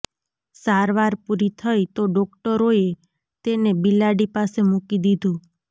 સારવાર પૂરી થઈ તો ડોક્ટરોએ તેને બિલાડી પાસે મૂકી દીધું